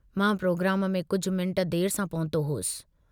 मां प्रोग्राम में कुझ मिनट देर सां पहुतो हुअसि।